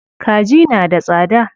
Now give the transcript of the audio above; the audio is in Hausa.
Kaji na da tsada.